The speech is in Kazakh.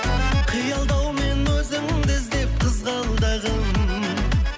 қиялдаумен өзіңді іздеп қызғалдағым